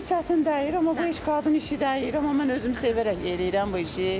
Çox bir çətin deyil, amma bu iş qadın işi deyil, amma mən özümü sevərək eləyirəm bu işi.